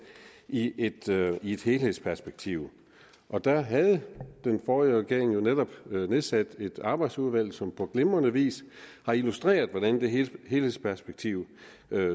i et i et helhedsperspektiv og der havde den forrige regering jo netop nedsat et arbejdsudvalg som på glimrende vis har illustreret hvordan det helhedsperspektiv